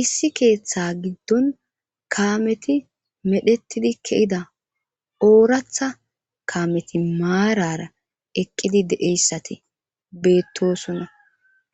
Issi keeththa giddon kaameti medhettidi kehida ooratha kaameti maarara eqqidi deeyssati beettosunna